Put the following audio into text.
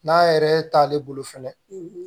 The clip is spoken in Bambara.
N'a yɛrɛ t'ale bolo fɛnɛ